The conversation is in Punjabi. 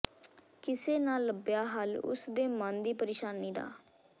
ਕਿਸੇ ਨਾ ਲੱਭਿਆ ਹੱਲ ਉਸਦੇ ਮਨ ਦੀ ਪ੍ਰੇਸ਼ਾਨੀ ਦਾ